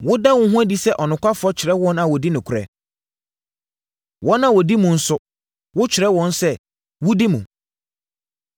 “Woda wo ho adi sɛ ɔnokwafoɔ kyerɛ wɔn a wɔdi nokorɛ, wɔn a wɔdi mu nso wo kyerɛ wɔn sɛ wodi mu.